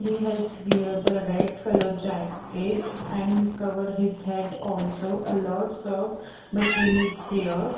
He has wear the red colour jacket and cover his head also a lots of machine is here.